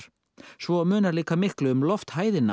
svo munar líka miklu um